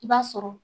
I b'a sɔrɔ